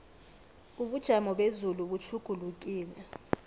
ubujamo bezulu butjhugulukile